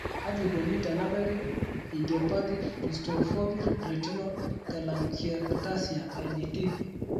Kaji eikoni tenebaki idiopathic justafoveal retinal telangiectasia IJT?